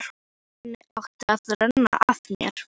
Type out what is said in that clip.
Þannig átti að renna af mér.